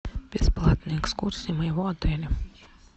бесплатные экскурсии моего отеля